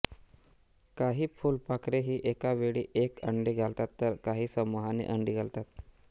काही फुलपाखरे ही एका वेळी एक अंडे घालतात तर काही समुहाने अंडी घालतात